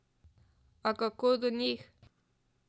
A kako do njih?